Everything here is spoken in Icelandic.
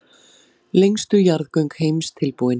Lengstu jarðgöng heims tilbúin